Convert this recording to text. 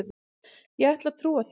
Ég ætla að trúa því.